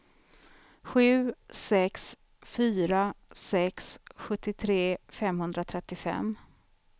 sju sex fyra sex sjuttiotre femhundratrettiofem